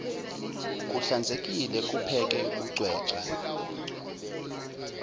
kuhlanzekile kupheke kucwecwe